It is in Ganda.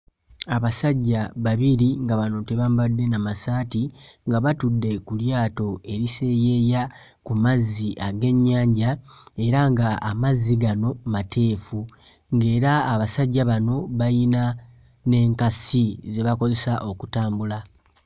Abasajja babiri nga bano tebambadde na massaati nga batudde ku lyato eriseeyeeya ku mazzi ag'ennyanja era nga amazzi gano mateefu ng'era abasajja bano bayina n'enkasi ze bakozesa okutambula.